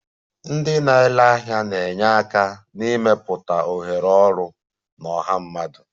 Ndị na-ere ahịa na-enye aka n'ịmepụta ohere ọrụ na ọha mmadụ